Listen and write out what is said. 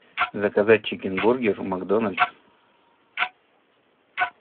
заказать чикен бургер в макдональдс